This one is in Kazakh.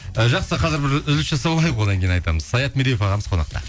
і жақсы қазір бір үзіліс жасап алайық одан кейін айтамыз саят медеуов ағамыз қонақта